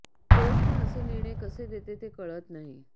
court पण असे निर्णय कसे देते ते कळत नाही